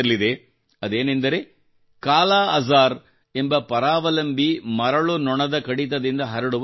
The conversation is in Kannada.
ಅದೇನೆಂದರೆ ಕಾಲಾಅಜಾರ್ ಎಂಬ ಪರಾವಲಂಬಿ ಮರಳು ನೊಣದ ಕಡಿತದಿಂದ ಹರಡುವ ಜ್ವರ